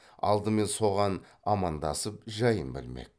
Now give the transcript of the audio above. алдымен соған амандасып жайын білмек